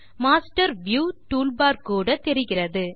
master view toolbar கூட தெரிகிறது